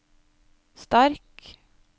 sterk